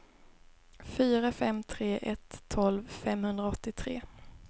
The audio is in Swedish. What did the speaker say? fyra fem tre ett tolv femhundraåttiotre